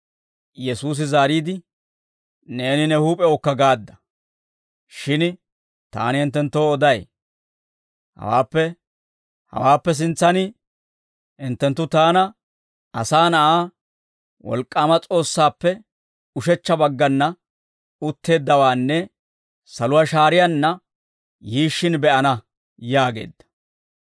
Yesuusi zaariide, «Neeni ne huup'ewukka gaadda; shin taani hinttenttoo oday; hawaappe sintsaan, hinttenttu taana, Asaa Na'aa, wolk'k'aama S'oossaappe ushechcha baggana utteeddawaanne saluwaa shaariyaanna yiishshin be'ana» yaageedda.